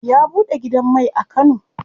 Ya buɗe gidan mai a kano.